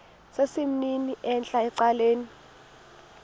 sesimnini entla ecaleni